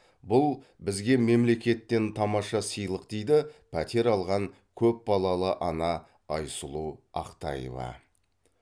бұл бізге мемлекеттен тамаша сыйлық дейді пәтер алған көпбалалы ана айсұлу ақтаева